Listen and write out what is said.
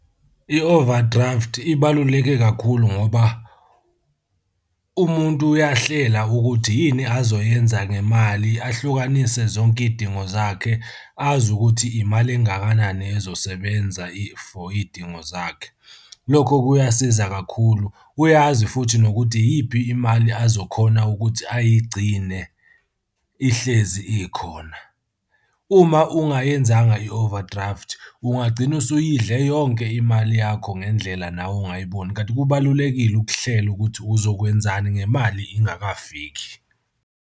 I-overdraft ibaluleke kakhulu ngoba umuntu uyahlela ukuthi yini azoyenza ngemali ahlukanise zonke iy'dingo zakhe, azi ukuthi imali engakanani ezosebenza for iy'dingo zakhe. Lokho kuyasiza kakhulu, uyazi futhi nokuthi iyiphi imali azokhona ukuthi ayigcine ihlezi ikhona. Uma ungayenzanga i-overdraft, ungagcina usuyidle yonke imali yakho ngendlela nawe ongayiboni, kanti kubalulekile ukuhlela ukuthi uzokwenzani ngemali ingakafiki.